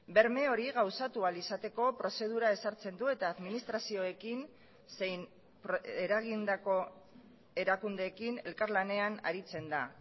berme hori gauzatu ahal izateko prozedura ezartzen du eta administrazioekin zein eragindako erakundeekin elkarlanean aritzen da